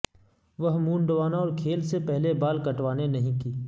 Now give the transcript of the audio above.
وہ مونڈنا اور کھیل سے پہلے بال کٹوانے نہیں کی